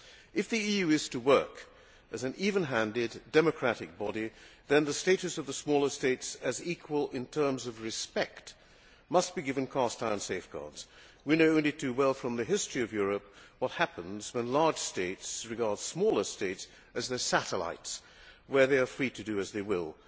If the EU is to work as an even handed, democratic body, then the status of the smaller states as equals in terms of respect must be given cast iron safeguards. We know only too well from the history of Europe what happens when large states regard smaller states as their satellites, where they are free to do as they will.